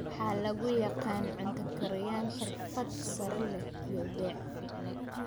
waxaa lagu yaqaan cunta kariyan xirfad sare leh iyo beec ficni